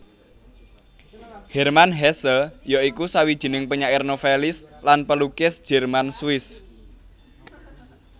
Hermann Hesse ya iku sawijining penyair novelis lan pelukis Jerman Swiss